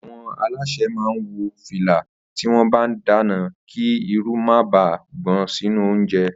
Àwo̩n alásè máa ń wo̩ fìlà tí wó̩n bá ń dáná kí irun má baà gbò̩n sínú oúnje̩